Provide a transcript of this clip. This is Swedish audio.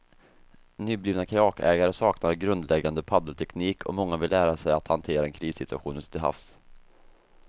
Nyblivna kajakägare saknar grundläggande paddelteknik och många vill lära sig att hantera en krissituation ute till havs.